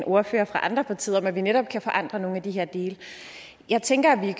ordførere fra andre partier om at vi netop kan forandre nogle af de her dele jeg tænker at vi